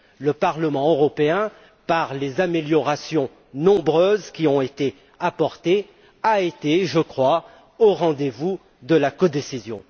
Le Parlement européen, par les améliorations nombreuses qui ont été apportées, a été, je crois, au rendez vous de la codécision.